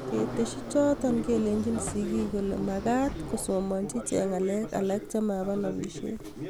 ketesyi choto, kelechi sigiik kole magaat kosomanchi iche ngalek alak chemaba nobishet